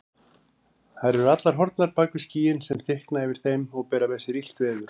Þær eru allar horfnar bak við skýin sem þykkna yfir þeim og bera með sér illt veður.